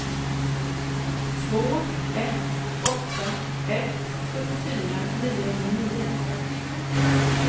två ett åtta ett sjuttiofyra niohundranio